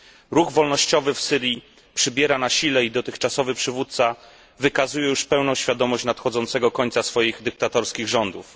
Ruch wolnościowy w Syrii przybiera na sile i dotychczasowy przywódca wykazuje już pełną świadomość nadchodzącego końca swoich dyktatorskich rządów.